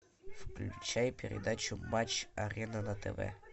включай передачу матч арена на тв